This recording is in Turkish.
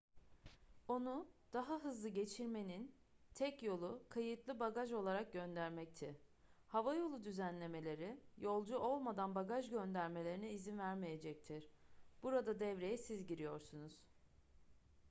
onu daha hızlı geçirmenin tek yolu kayıtlı bagaj olarak göndermekti havayolu düzenlemeleri yolcu olmadan bagaj göndermelerine izin vermeyecektir burada devreye siz giriyorsunuz